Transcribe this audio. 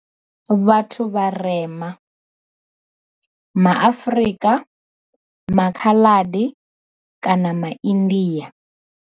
Vhathu vharema, ma Afrika, maKhaladi kana ma India.